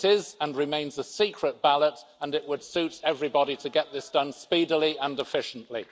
It is, and remains, a secret ballot and it would suit everybody to get this done speedily and efficiently.